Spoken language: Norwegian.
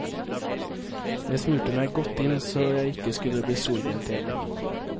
Jeg smurte meg godt inn så jeg ikke skulle bli solbrent igjen.